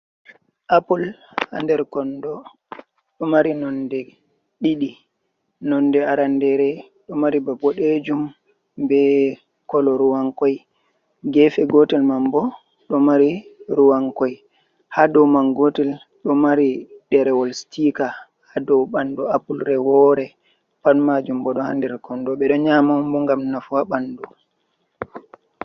Apple ha nder kondo ɗo mari nonde ɗiɗi nonde arandere do mari ba boɗejum be kolo ruwankoi koi gefe gotel man bo ɗo mari ruwan koi. Ha dow man gotel do mari derewol stika ha dow bandu apple re woore pat majum bo ɗo ha nder kondo ɓe ɗo nyama bo gam nafu ha bandu.